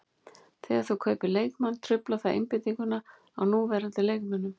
Þegar þú kaupir leikmann truflar það einbeitinguna á núverandi leikmönnum.